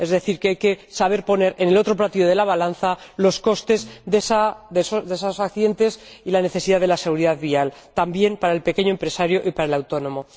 Es decir, que hay que saber poner en el otro platillo de la balanza los costes de esos accidentes y la necesidad de la seguridad vial, también para el pequeño empresario y para el autónomo.